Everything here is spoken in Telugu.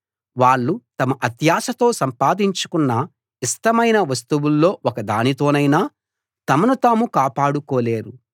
వాళ్ళు తమ అత్యాశతో సంపాదించుకున్న ఇష్టమైన వస్తువుల్లో ఒక దానితోనైనా తమను తాము కాపాడుకోలేరు